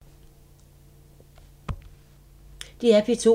DR P2